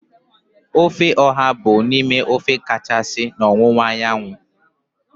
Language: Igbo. Ofe oha bụ otu n'ime ofe kachasị na ọwụwa anyanwụ.